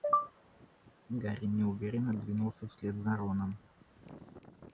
гарри неуверенно двинулся вслед за роном